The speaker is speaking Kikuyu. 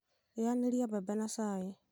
rĩanĩria mbebe na cai